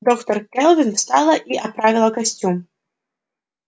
доктор кэлвин встала и оправила костюм